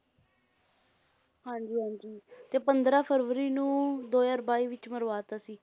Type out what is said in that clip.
ਹਾਂਜੀ ਹਾਂਜੀ ਤੇ ਪੰਦਰਾਂ ਫਰਵਰੀ ਨੂੰ ਦੋ ਹਜ਼ਾਰ ਬਾਈ ਵਿੱਚ ਮਰਵਾ ਦਿੱਤਾ ਸੀ